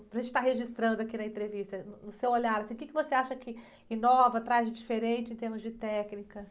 Para gente estar registrando aqui na entrevista, no, no seu olhar, assim, o quê que você acha que inova, traz de diferente em termos de técnicas?